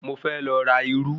Mo fẹ́ lọ ra irú